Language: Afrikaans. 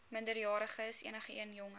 minderjariges enigeen jonger